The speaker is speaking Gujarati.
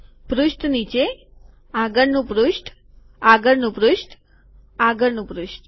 પૃષ્ઠ નીચે આગળનું પૃષ્ઠ આગળનું પૃષ્ઠ આગળનું પૃષ્ઠ